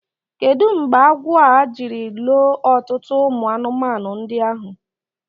Kedu mgbe agwọ a jiri loo ọtụtụ ụmụ anụmanụ ndị ahụ?